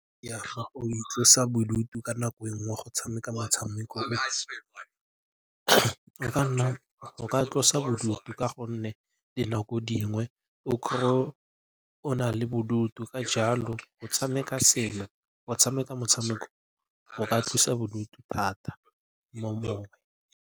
Itlosa bodutu ka nako e nngwe go tshameka metshameko go ka tlosa bodutu ka gonne dinako dingwe o kry-e o na le bodutu. Ka jalo go tshameka motshameko go ka thusa bodutu thata .